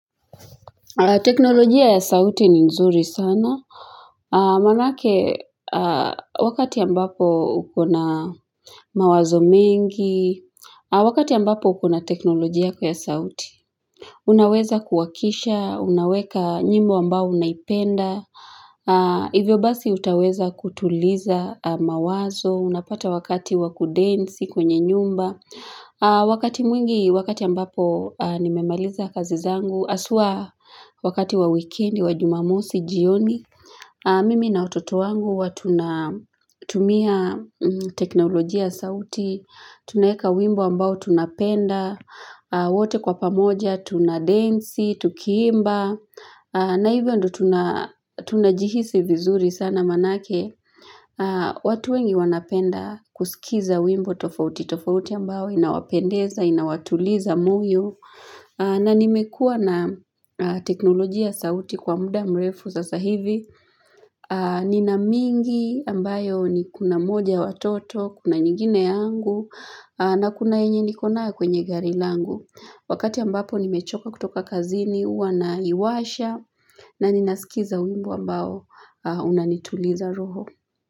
Teknolojia ya sauti ni nzuri sana. Manake, wakati ambapo ukona mawazo mingi, wakati ambapo ukona teknolojia kwa ya sauti, unaweza kuwakisha, unaweka nyimbo ambao unaipenda, hivyo basi utaweza kutuliza mawazo, unapata wakati wa kudensi kwenye nyumba. Wakati mwingi, wakati ambapo nimemaliza kazi zangu haswa wakati wa wikendi, wa jumamosi, jioni Mimi na watoto wangu huwa tuna tumia teknolojia ya sauti Tunaweka wimbo ambao tunapenda wote kwa pamoja, tuna densi, tukiimba na hivyo ndo tunajihisi vizuri sana manake watu wengi wanapenda kusikiza wimbo tofauti tofauti ambayo inawapendeza, inawatuliza moyo. Na nimekua na teknolojia sauti kwa muda mrefu sasa hivi. Ninamingi ambayo ni kuna moja watoto, kuna nyingine yangu. Na kuna enye nikona kwenye gari langu. Wakati ambapo nimechoka kutoka kazini, huwa naiwasha. Na ninasikiza wimbo ambayo unanituliza roho.